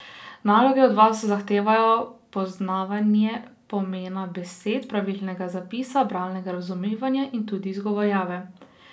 Naloge od vas zahtevajo poznavanje pomena besed, pravilnega zapisa, bralnega razumevanja in tudi izgovorjave.